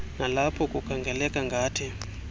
nalapho kukhangeleka ngathi